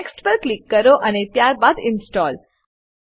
next પર click કરો અને ત્યારબાદ ઇન્સ્ટોલ